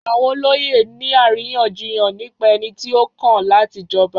Àwọn olóyè ń ní àríyànjiyàn nípa ẹni tí ó kàn láti jọba.